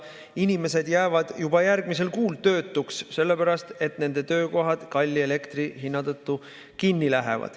Inimesed jäävad juba järgmisel kuul töötuks sellepärast, et nende töökohad lähevad kalli elektri tõttu kinni.